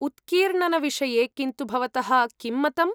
उत्कीर्णनविषये किन्तु भवतः किं मतम्?